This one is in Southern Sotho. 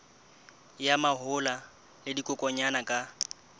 ya mahola le dikokwanyana ka